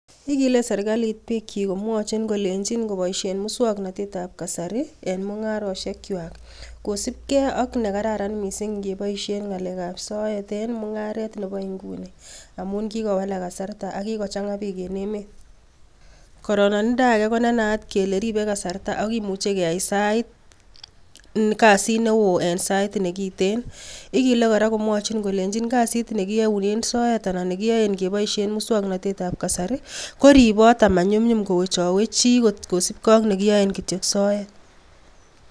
Igile serkalit bikchik komwochin kolenyin koboishien musoknotetab kasari en mungarosiekchwak kosiibge ak noton kararan missing ingeboishien ngalekab soet en mungaret Nebo inguni amun kikowalaak kasarta ak kikochangaa biik en emet, kororoninda age konenaat kele ribee kasartaa ak kimuche keyai sait nekoten kasit newoo, igile kora komwochin kolenyi kasit nekiyounen soet anan nekiyoe keboishien musoknotetab kasari ko riboot ak manyumnyum kowechowech chii amun kiyoe kityok en soet